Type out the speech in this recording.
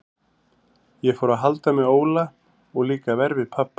Ég fór að halda með Óla og líka verr við pabba.